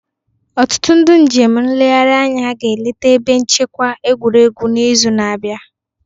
Ọtụtụ ndị njem nlegharị anya ga-eleta ebe nchekwa egwuregwu n'izu na-abịa